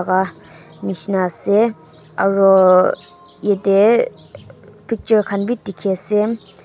laga nishina ase aro ete picture khan bi dikhi ase.